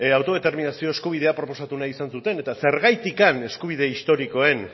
autodeterminazio eskubidea proposatu nahi izan zuten eta zergatik eskubide historikoen